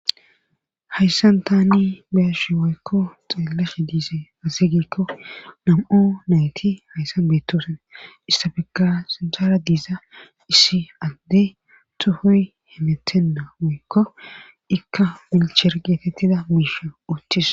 hayssan taani beshi waykko xeelehe diise azeygekko nam7u nayti hayssan beetosen issabegga sinsara diiza issi adde tuhoy hemetenna woykko ikka milcher geetettida miishio uttis